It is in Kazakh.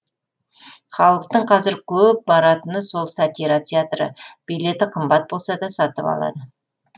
халықтың қазір көп баратыны сол сатира театры билеті қымбат болса да сатып алады